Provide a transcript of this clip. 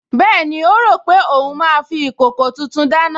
Bẹ́ẹ̀ni, ó rò pé òun máa fi ìkòkò tuntun dáná